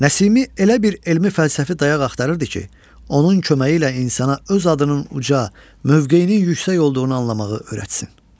Nəsimi elə bir elmi fəlsəfi dayaq axtarırdı ki, onun köməyi ilə insana öz adının uca, mövqeyinin yüksək olduğunu anlamağı öyrətsin.